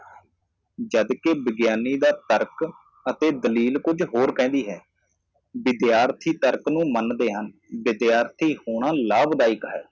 ਜਦ ਕਿ ਵਿਗਿਆਨੀ ਦਾ ਤਰਕ ਅਤੇ ਦਲੀਲ ਕੁਝ ਹੋਰ ਕਹਿੰਦੀ ਹੈ ਵਿਦਿਆਰਥੀ ਤਰਕ ਨੂੰ ਮੰਨਦੇ ਹਣ ਵਿਦਿਆਰਥੀ ਹੋਣਾ ਲਾਭਦਾਇਕ ਹੈ